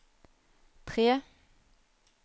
tre